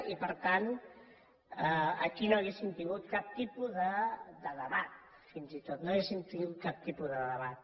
i per tant aquí no hauríem tingut cap tipus de debat fins i tot no hauríem tingut cap tipus de debat